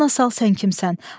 Yadına sal sən kimsən?